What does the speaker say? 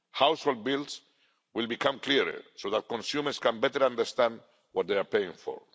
Household bills will become clearer so that consumers can better understand what they are paying for.